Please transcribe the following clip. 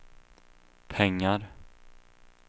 pengar